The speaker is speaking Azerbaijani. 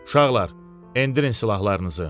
Uşaqlar, endirin silahlarınızı.